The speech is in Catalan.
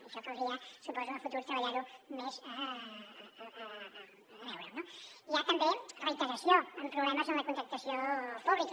i això caldria suposo a futur treballar ho més per veure ho no hi ha també reiteració en problemes en la contractació pública